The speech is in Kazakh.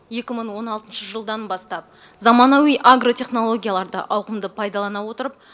екі мың он алтыншы жылдан бастап заманауи агротехнологияларды ауқымды пайдалана отырып